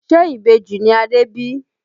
Ṣe Ìbejì ni Adé bí?